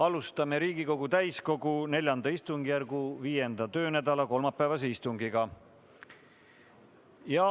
Alustame Riigikogu täiskogu IV istungjärgu viienda töönädala kolmapäevast istungit.